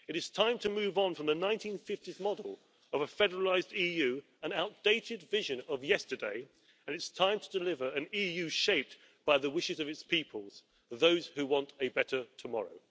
It is time to move on from the 1950s model of a federalised EU, an outdated vision of yesterday and it is time to deliver an EU shaped by the wishes of its peoples, those who want a better tomorrow.